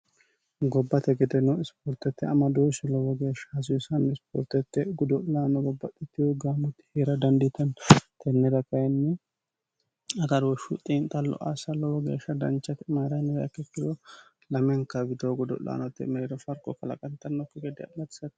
gobbate gedeno isipoortette amadooshshi lowo geeshsha hassanno ispoortette godo'laano babbaxxittewo gaamoti heera dandiitanno tennira kayinni agaruoshshu xiinxallo asa lowo geeshsha dancha mayira yiniha ikkiro lamenka widoo godo'laanote mereero farqo kalaqantannokki gedde assate